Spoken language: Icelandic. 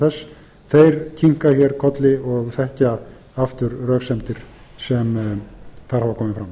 forsendur þess kinka hér kolli og þekkja aftur röksemdir sem þar hafa komið fram